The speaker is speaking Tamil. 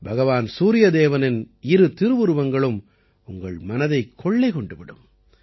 பகவான் சூரிய தேவனின் இரு திருவுருவங்களும் உங்கள் மனதைக் கொள்ளை கொண்டு விடும்